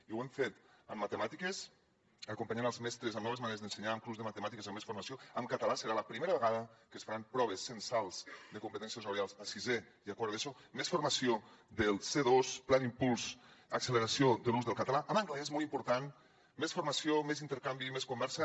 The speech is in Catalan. i ho hem fet en matemàtiques acompanyant els mestres amb noves maneres d’ensenyar amb un curs de matemàtiques amb més formació en català serà la primera vegada que es faran proves censals de competències orals a sisè i a quart d’eso més formació del c2 pla d’impuls i acceleració de l’ús del català en anglès molt important més formació més intercanvi i més conversa